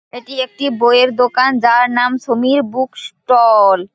এটি একটি বইয়ের দোকান যার নাম সমীর বুক ষ্টল -ল।